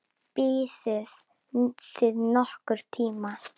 Biðuð þið nokkurn tíma?